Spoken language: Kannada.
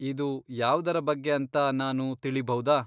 ಇದು ಯಾವ್ದರ ಬಗ್ಗೆ ಅಂತ ನಾನು ತಿಳಿಭೌದಾ?